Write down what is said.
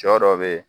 Sɔ dɔ be yen